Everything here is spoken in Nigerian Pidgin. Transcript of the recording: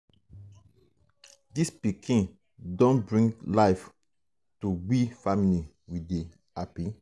dis pikin um don um bring life to we family we dey hapi.